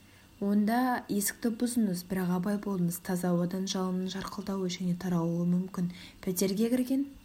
онда есікті бұзыңыз бірақ абай болыңыз таза ауадан жалынның жарқылдауы және таралуы мүмкін пәтерге кірген